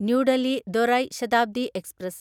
new Delhi ദുരൈ Shatabdi express